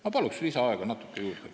Ma palun natuke lisaaega juurde ka!